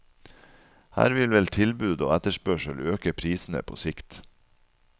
Her vil vel tilbud og etterspørsel øke prisene på sikt.